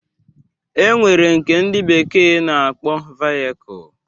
E nwere nke ndị bekee na-akpọ vayekul